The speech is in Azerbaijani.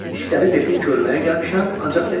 İstədi desin ki, ölməyə gəlmişəm, ancaq demədi.